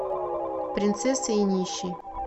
принцесса и нищий